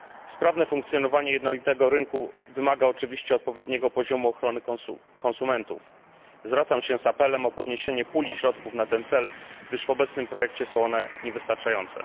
Sprawne funkcjonowanie jednolitego rynku wymaga oczywiście odpowiedniego poziomu ochrony konsumentów. Zwracam się z apelem o podniesienie puli środków na ten cel, gdyż w obecnym projekcie są one niewystarczające.